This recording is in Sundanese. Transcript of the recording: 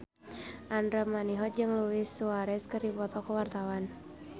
Andra Manihot jeung Luis Suarez keur dipoto ku wartawan